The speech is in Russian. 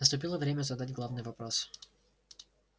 наступило время задать главный вопрос